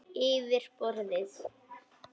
Yfir borðið.